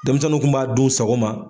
Denmisɛnninw kun b'a dun u sago ma